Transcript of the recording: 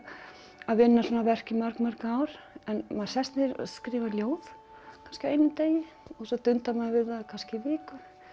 að vinna svona verk í mörg mörg ár en maður sest niður og skrifar ljóð kannski á einum degi svo dundar maður við það í kannski viku